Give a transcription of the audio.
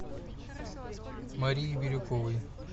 марии бирюковой